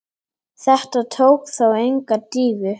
Þetta tók þó enga dýfu.